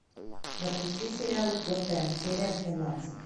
запусти сериал готэм серия двенадцать